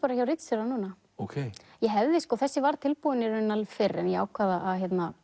hjá ritstjóra núna þessi var tilbúin fyrr en ég ákvað að